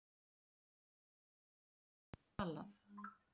Forvitninni var svalað.